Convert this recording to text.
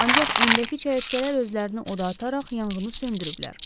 Ancaq öndəki çəyirtkələr özlərini oda ataraq yanğını söndürüblər.